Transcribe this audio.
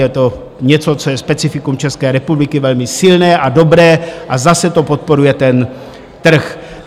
Je to něco, co je specifikum České republiky, velmi silné a dobré a zase to podporuje ten trh.